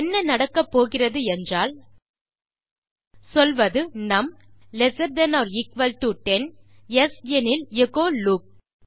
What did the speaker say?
என்ன நடக்க போகிறது என்றால் சொல்வது num lesser than or equal to 10 yes எனில் எச்சோ லூப்